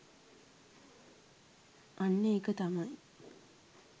අන්න ඒක තමයි